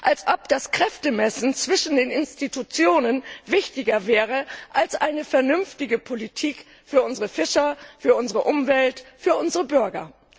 Als ob das Kräftemessen zwischen den Institutionen wichtiger wäre als eine vernünftige Politik für unsere Fischer, für unsere Umwelt, für unsere Bürger!